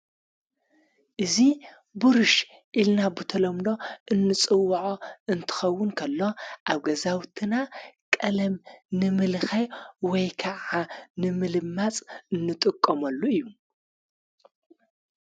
እዙ ቡርሽ ኢልና ብተሎምሎ እንጽውዖ እንትኸውን ከሎ ኣብ ገዛውትና ቀለም ንምልኻይ ወይከዓ ንምልማጽ እንጥቆሙሉ እዩ።